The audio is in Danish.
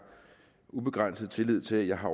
ubegrænset tillid til at jeg har